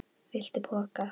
Viltu poka?